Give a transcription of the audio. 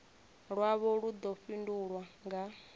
lwavho lu ḓo fhindulwa nga